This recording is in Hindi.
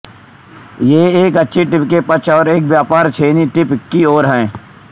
ये एक अच्छी टिप के पक्ष और एक व्यापक छेनी टिप की ओर है